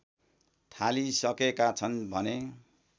थालिसकेका छन् भने